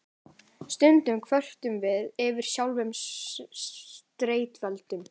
Stundum kvörtum við yfir sjálfum streituvaldinum.